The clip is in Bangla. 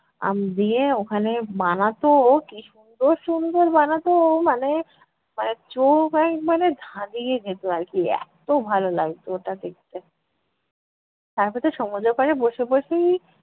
উম দিয়ে ওখানে বানাতো কী সুন্দর সুন্দর বানাতো! মানে মানে চোখ একবারে ধাঁধিয়ে যেতো আর কী, এত্ত ভালো লাগতো ওটা দেখতে। তারপর তো সমুদ্রর পাড়ে বসে বসেই